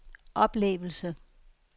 oplevelse